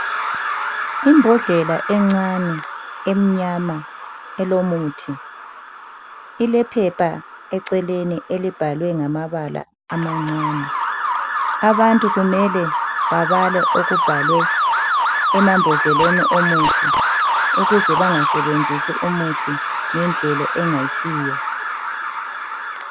Imbodlela encane emnyama elomuthi, ilephepha eceleni elibhalwe ngamabala amancane. Abantu kumele babale okubhalwe emambodleleni omuthi ukuze bangasebenzisi umuthi ngendlela engayisiyo